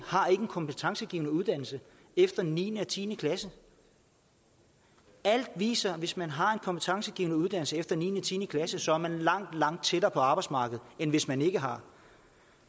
har en kompetencegivende uddannelse efter niende og tiende klasse alt viser at hvis man har en kompetencegivende uddannelse efter niende og tiende klasse så er man langt langt tættere på arbejdsmarkedet end hvis man ikke har